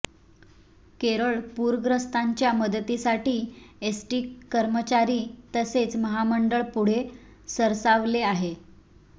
केरळ पूरग्रस्तांच्या मदतीसाठी एसटी कर्मचारी तसेच महामंडळ पुढे सरसावले आहे